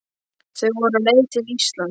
Þau voru á leið til Íslands.